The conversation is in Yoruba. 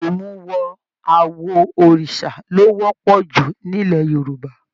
Imuwọ̀ awo Òrìsà lo wọpọ jù nilẹ̀ Yorùbá.